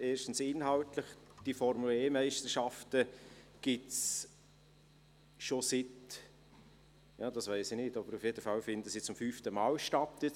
Erstens, inhaltlich: Die Formel-E-Meisterschaften finden dieses Jahr zum fünften Mal statt.